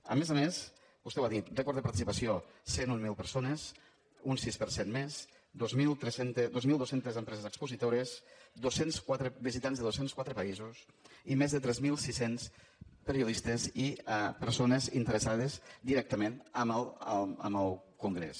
a més a més vostè ho ha dit rècord de participació cent i mil persones un sis per cent més dos mil dos cents empreses expositores dos cents i quatre visitants de dos cents i quatre països i més de tres mil sis cents periodistes i persones interessades directament en el congrés